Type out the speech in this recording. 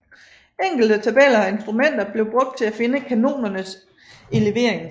Enkle tabeller og instrumenter blev brugt til at finde kanonernes elevering